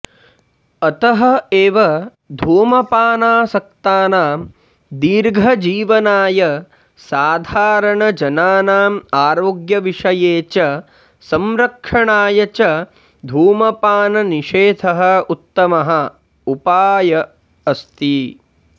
अतः एव धूमपानासक्तानां दीर्धजीवनाय साधारण जनानाम् आरोग्यविषये च संरक्षणाय च धूमपाननिषेधः उत्तमः उपायः अस्ति